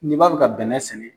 N'i b'a fɛ ka bɛnɛ sɛnɛ